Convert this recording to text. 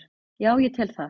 Já ég tel það.